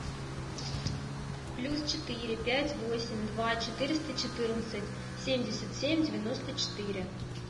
плюс четыре пять восемь два четыреста четырнадцать семьдесят семь девяносто четыре